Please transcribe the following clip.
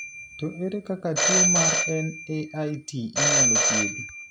To ere kaka tuo mar NAIT inyalo thiedho?